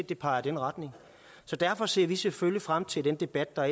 det peger i den retning derfor ser vi selvfølgelig frem til den debat der